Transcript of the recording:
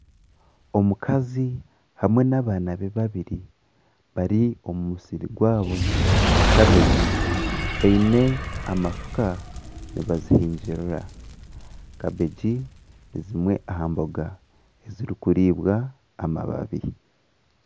Omukazi hamwe n''abaana be babiri bari omumusiri gwabo gwa kabegi baine amafuka nibazihingirira kabegi nizimwe aha mboga ezirikuriibwa amababi